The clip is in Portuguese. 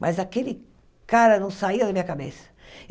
Mas aquele cara não saia da minha cabeça.